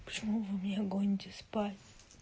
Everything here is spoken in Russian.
почему вы меня гоните спать